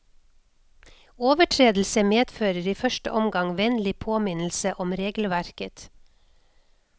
Overtredelse medfører i første omgang vennlig påminnelse om regelverket.